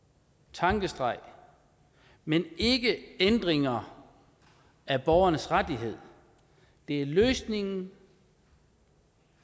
tankestreg men ikke ændringer af borgernes rettigheder det er løsningen